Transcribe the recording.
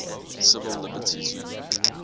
civil liberties union